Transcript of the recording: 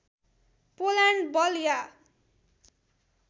Poland बल या